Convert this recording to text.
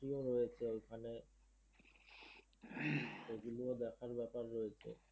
রয়েছে ওখানে। সেগুলো ও দেখার ব্যাপার রয়েছে।